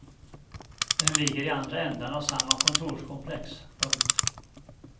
Den ligger i andra ändan av samma kontorskomplex. punkt